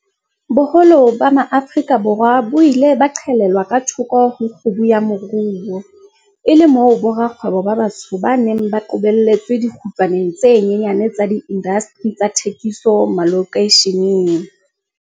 Boholo ba MaAfrika Borwa bo ile ba qhelelwa ka thoko ho kgubu ya moruo, e le moo borakgwebo ba batsho ba neng ba qobelletswe dikgutlwaneng tse nyenyane tsa diindasteri tsa thekiso malokeisheneng.